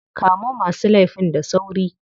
Kamo masu laifin da sauri.